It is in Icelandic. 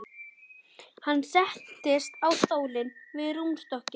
Hann settist á stól við rúmstokkinn.